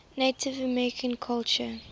native american culture